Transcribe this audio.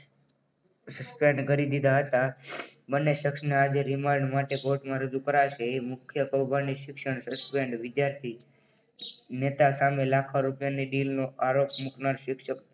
Suspend કરી દીધા હતા. બંને શખ્સને આજે રિમાન્ડ માટે કોર્ટમાં રજૂ કરાશે. એ મુખ્ય કૌભાંડી શિક્ષણ વિદ્યાર્થી નેતા સામે લાખો રૂપિયાની દિલનો આરોપ મુકનાર શિક્ષક